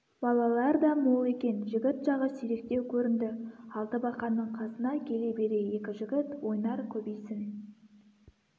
балалар да мол екен жігіт жағы сиректеу көрінді алтыбақанның қасына келе бере екі жігіт ойнар көбейсін